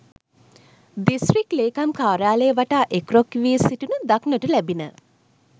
District ලේකම් කාර්යාලය වටා එක්රොක් වී සිටිනු දක්නට ලැබිණ.